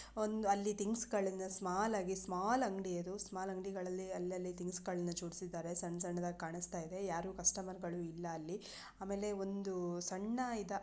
ಅಲ್ಲಿ ಥಿಂಗ್ಸ್ ಗಳನ್ನ ಸ್ಮಾಲ್ ಹಾಗಿ ಸ್ಮಾಲ್ ಅಂಗಡಿ ಅದು ಸ್ಮಾಲ್ ಅಂಗಡಿಗಳಲ್ಲಿ ಅಲ್ಲಲ್ಲಿ ತೀನುಸುಗಳನ್ನ ಜೋಡಿಸಿದ್ದಾರೆ ಸಣ್ಣ ಸಣ್ಣದಾಗಿ ಕಾಣಿಸ್ತಾ ಇದೆ ಯಾರು ಕಸ್ಟಮರ್ ಗಳು ಇಲ್ಲ ಅಲ್ಲಿ ಆಮೇಲೆ ಒಂದು ಸಣ್ಣ ಇದ.